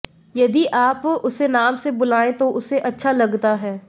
यदि आप उसे नाम से बुलाएं तो उसे अच्छा लगता है